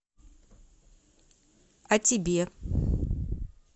а тебе